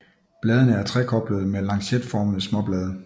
Bladene er trekoblede med lancetformede småblade